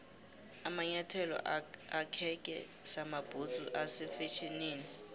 amanyathelo akheke samabhudzu ase fetjhenini